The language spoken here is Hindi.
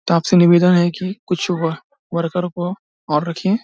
आप से निवेदन है की कुछ वर वर्कर को और रखिये।